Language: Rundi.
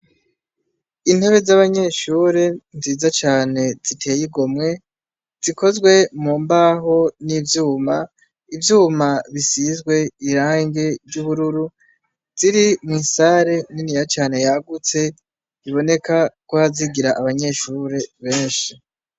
Intebe z'abanyeshure nziza cane, ziteye igomwe; zikozwe mu mbaho n'ivyuma. Ivyuma bisizwe irangi ry'ubururu. Ziri mw'isare niniya cane, yagutse; biboneka ko hazigira abanyeshure benshi.